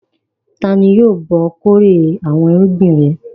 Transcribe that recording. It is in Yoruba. Ta jí yóò bá ọ kórè àwọn irúgbìn rẹ?